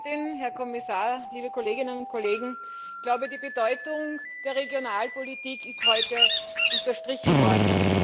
Frau Präsidentin, Herr Kommissar, liebe Kolleginnen und Kollegen! Die Bedeutung der Regionalpolitik ist heute unterstrichen worden.